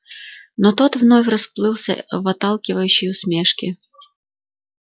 но тот вновь расплылся в отталкивающей усмешке